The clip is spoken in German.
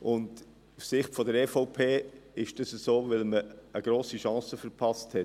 Aus Sicht der EVP ist dies so, weil man eine grosse Chance verpasst hat.